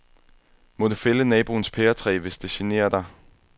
Må du fælde naboens pæretræ, hvis det generer dig.